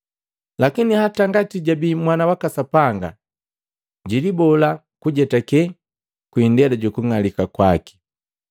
Lakini hata ngati jabii Mwana waka Sapanga, jilibola kujetake kwi indela juku ng'alika kwake.